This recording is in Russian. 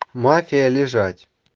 мафия лежать